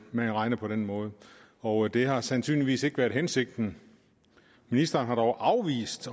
man regner på den måde og det har sandsynligvis ikke været hensigten ministeren har dog afvist